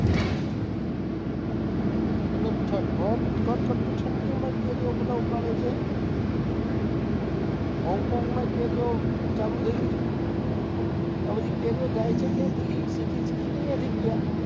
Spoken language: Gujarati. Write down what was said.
એટલે ભર, કડકડતી ઠંડી માય કેરીઓ બધા ઉગાડે છે, હોંગકોંગમાં ય કેરીઓ ચાલુ થઇ ગઈ, આ બધી કેરીઓ જાય છે ક્યાંથી, શીખી શીખીને અહિયાંથી ગયા